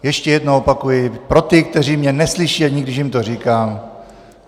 Ještě jednou opakuji pro ty, kteří mě neslyší, ani když jim to říkám.